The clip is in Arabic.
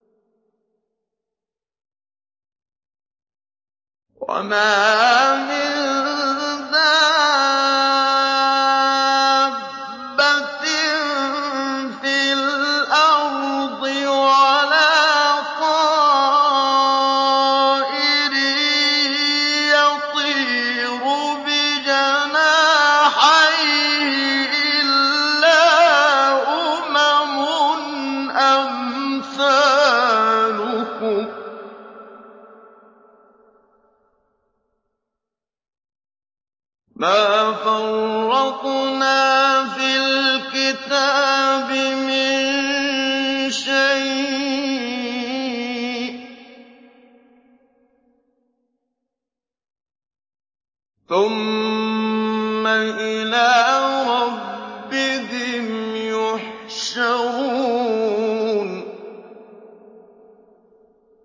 وَمَا مِن دَابَّةٍ فِي الْأَرْضِ وَلَا طَائِرٍ يَطِيرُ بِجَنَاحَيْهِ إِلَّا أُمَمٌ أَمْثَالُكُم ۚ مَّا فَرَّطْنَا فِي الْكِتَابِ مِن شَيْءٍ ۚ ثُمَّ إِلَىٰ رَبِّهِمْ يُحْشَرُونَ